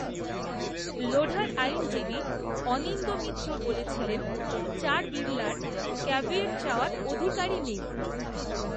লোঢার আইনজীবী অনিন্দ্য মিত্র বলেছিলেন, চার বিড়লার ক্যাভিয়েট চাওয়ার অধিকারই নেই